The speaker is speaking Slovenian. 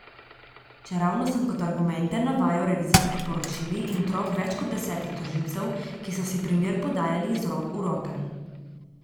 Čeravno sem kot argumente navajal revizijski poročili in trop več kot desetih tožilcev, ki so si primer podajali iz rok v roke.